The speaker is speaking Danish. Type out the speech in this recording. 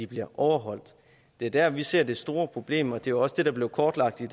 bliver overholdt det er der vi ser det store problem og det var jo også det der blev kortlagt i